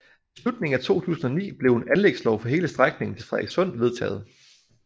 I slutningen af 2009 blev en anlægslov for hele strækningen til Frederikssund vedtaget